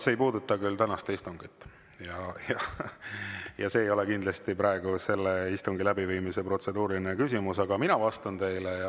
See ei puuduta küll tänast istungit ja see ei ole kindlasti praegu protseduuriline küsimus selle istungi läbiviimise kohta, aga ma vastan teile.